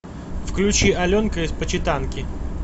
включи аленка из почитанки